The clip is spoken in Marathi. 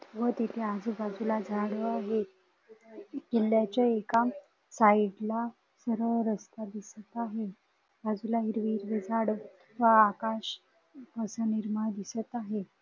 व तिथे आजूबाजूला झाड आहे किल्ल्याच्या एका साईडला सरळ रस्ता दिसत आहे बाजूला हिरवी हिरवी झाडं व आकाश असं निर्मळ दिसत आहे.